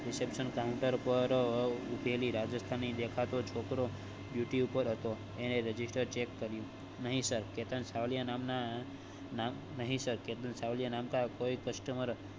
Reception counter પર ઉભેલી રાજસ્થાની દેખાતો છોકરો duty પર હતો એને register check કર્યું નહિ sir કેતન સાવલિયા નામ ના નહિ સર કેતન સાવલિયા नाम का कोई customer